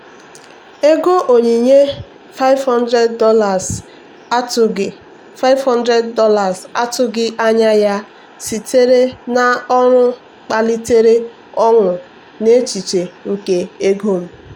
ego onyinye $500 atụghị $500 atụghị anya ya sitere n'ọrụ kpalitere ọṅụ n'echiche nke ego m.